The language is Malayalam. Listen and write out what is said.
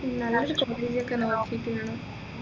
നല്ലൊരു ലേക്ക് നോക്കിയിട്ടിടണം